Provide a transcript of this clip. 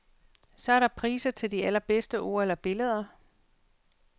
Så er der priser til de allerbedste ord eller billeder.